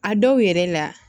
A dɔw yɛrɛ la